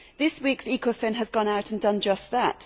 This week's ECOFIN has gone out and done just that.